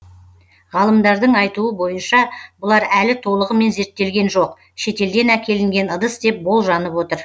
ғалымдардың айтуы бойынша бұлар әлі толығымен зерттелген жоқ шетелден әкелінген ыдыс деп болжанып отыр